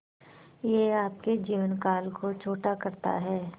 यह आपके जीवन काल को छोटा करता है